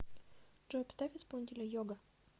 джой поставь исполнителя йога